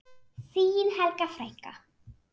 Þín Helga frænka.